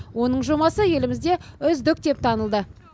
оның жобасы елімізде үздік деп танылды